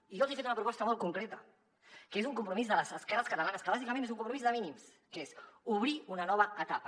i jo els he fet una proposta molt concreta que és un compromís de les esquerres catalanes que bàsicament és un compromís de mínims que és obrir una nova etapa